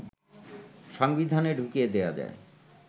সংবিধানে ঢুকিয়ে দেয়া যায়